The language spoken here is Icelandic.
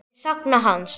Ég sakna hans.